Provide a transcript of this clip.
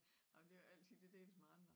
Ej men det jo ikke altid det deles med andre